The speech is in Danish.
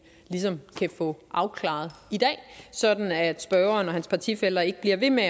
kan få afklaret i dag sådan at spørgeren og hans partifæller ikke bliver ved med